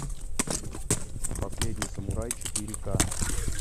последний самурай четыре ка